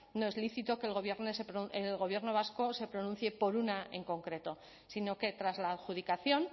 no es lícito que el gobierno vasco se pronuncie por una en concreto sino que tras la adjudicación